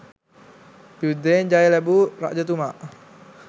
යුද්ධයෙන් ජය ලැබූ රජතුමා